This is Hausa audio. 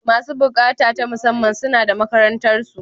Masu buƙata ta musamman, suna da makarantarsu.